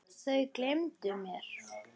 Þau gleymdu mér.